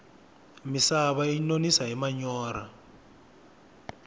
misava yi nonisa hi manyorha